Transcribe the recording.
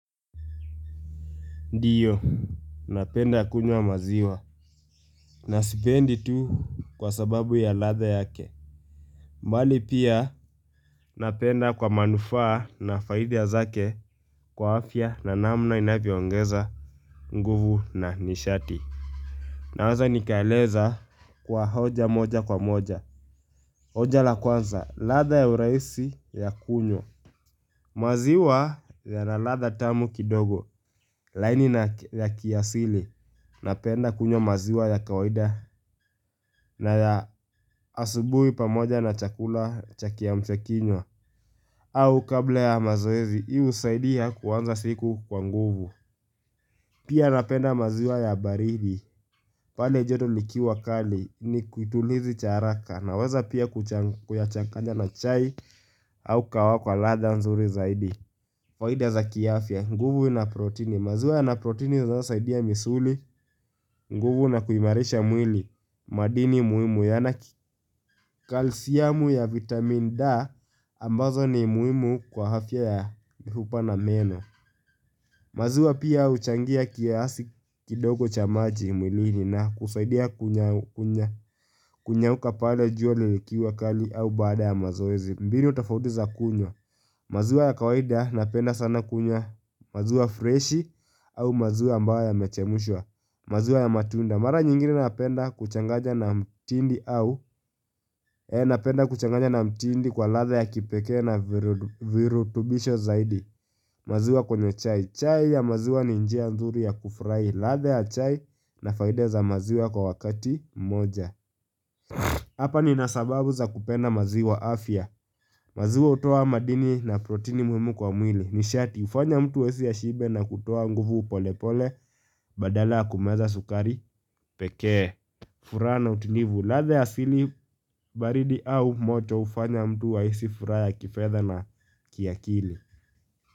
Ndiyo, napenda kunywa maziwa. Na sipendi tu kwa sababu ya ladha yake. Bali pia napenda kwa manufaa na faida zake kwa afya na namna inavyo ongeza nguvu na nishati. Naweza nikaeleza kwa hoja moja kwa moja. Hoja la kwanza, ladha ya urahisi ya kunywa. Maziwa ya na ladha tamu kidogo, laini na ya kiasili. Napenda kunywa maziwa ya kawaida na ya asubuhi pamoja na chakula cha kiamshakinywa au kabla ya mazoezi, hii husaidia kuanza siku kwa nguvu Pia napenda maziwa ya baridi, pale joto likiwa kali ni kitulizi cha haraka Naweza pia kuchanganya na chai au kwa ladha nzuri zaidi faida za kiafya, nguvu na protini maziwa ya na protini zinazosaidia misuli, nguvu na kuimarisha mwili madini muhimu yana kalsiamu ya vitamin D ambazo ni muhimu kwa afya ya mifupa na meno maziwa pia huchangia kiasi kidogo cha maji mwilini na kusaidia kunyauka pale jua likiwa kali au baada ya mazoezi mbinu tofauti za kunywa maziwa ya kawaida napenda sana kunywa maziwa freshi au maziwa ambayo yamechemshwa maziwa ya matunda mara nyingine napenda kuchanganya na mtindi au. Napenda kuchanganya na mtindi kwa ladha ya kipekee na virutubisho zaidi. Maziwa kwenye chai. Chai ya maziwa ni njia nzuri ya kufurahi ladha ya chai na faida za maziwa kwa wakati moja. Hapa nina sababu za kupenda maziwa afya. Maziwa hutoa madini na protini muhimu kwa mwili. Nishati hufanya mtu ashibe na kutoa nguvu pole pole badala ya kumeza sukari pekee. Furaha na utulivu, ladha ya asili baridi au moto hufanya mtu ahisi furaha kifedha na kiakili.